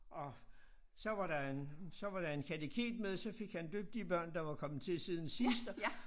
Og så var der en så var der en kateket med så fik han døbt de børn der var kommet til siden sidst